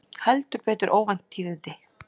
Heldur betur óvænt tíðindi